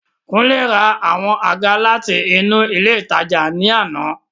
Kunle ra àwọn àga láti inú ilé ìtajà ní àná.